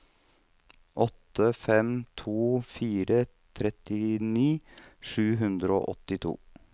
åtte fem to fire trettini sju hundre og åttito